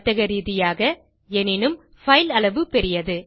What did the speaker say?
வர்த்த ரீதியாக எனினும் பைல் அளவு பெரியது